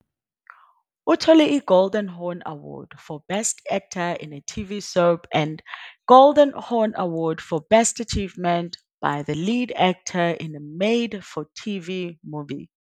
Uthole i- Golden Horn Award for Best Actor in a TV Soap and Golden Horn Award for Best Achievement by the Lead Actor in a Made for TV Movie.